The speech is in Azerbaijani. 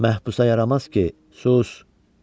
Məhbisa yaramaz ki, sus!